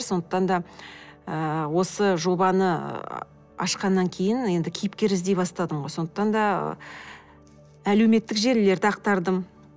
сондықтан да ыыы осы жобаны ашқаннан кейін енді кейіпкер іздей бастадым ғой сондықтан да әлеуметтік желілерді ақтардым